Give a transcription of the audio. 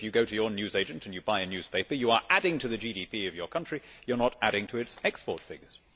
If you go to your newsagent and buy a newspaper, you are adding to the GDP of your country you are not adding to its export figures.